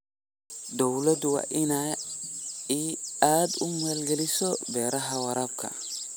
Dawladdu waa inay aad u maalgelisaa beeraha waraabka.